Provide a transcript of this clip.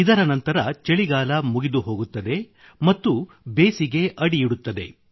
ಇದರ ನಂತರ ಚಳಿಗಾಲ ಮುಗಿದುಹೋಗುತ್ತದೆ ಮತ್ತು ಬೇಸಿಗೆ ಅಡಿಯಿಡುತ್ತದೆ